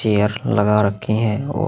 chair लगा रखे है और--